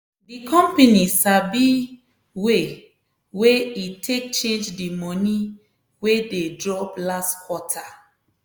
di company sabi way wey e take change di money wey dey drop last quarter.